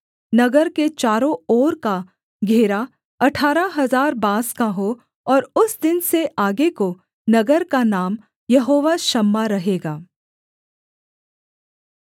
नगर के चारों ओर का घेरा अठारह हजार बाँस का हो और उस दिन से आगे को नगर का नाम यहोवा शाम्मा रहेगा